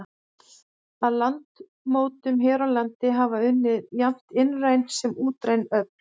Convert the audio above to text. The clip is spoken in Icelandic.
Að landmótun hér á landi hafa unnið jafnt innræn sem útræn öfl.